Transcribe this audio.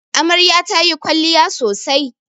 Amarya ta yi kwalliya sosai